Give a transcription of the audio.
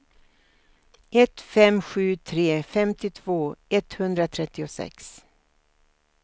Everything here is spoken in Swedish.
ett fem sju tre femtiotvå etthundratrettiosex